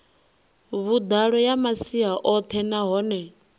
vhuḓalo ya masia oṱhe nahone